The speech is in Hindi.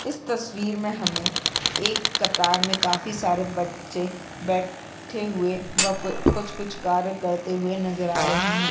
इस तस्वीर में हमें एक कतार में काफी सारे बच्चे बैठे हुए व कुछ-कुछ कार्य करते हुए नजर आ रहे हैं।